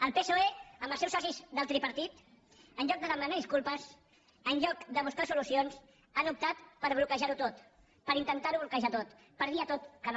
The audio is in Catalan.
el psoe amb els seus socis del tripartit en lloc de demanar disculpes en lloc de buscar solucions han optat per bloquejar ho tot per intentar ho bloquejar tot per dir a tot que no